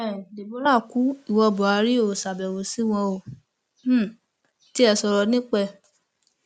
um deborah kú ìwo buhari óò ṣàbẹwò sí wọn óò um tiẹ sọrọ nípa ẹ